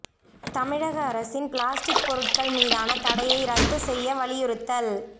தமிழக அரசின் பிளாஸ்டிக் பொருட்கள் மீதான தடையை ரத்து செய்ய வலியுறுத்தல்